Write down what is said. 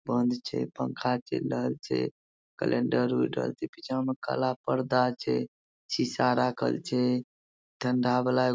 बंद छै पंखा चऐल रहल छै कलेंडर उर रहल छै पीछा मे काला परदा छै सीसा राखल छै ठंडा वाला --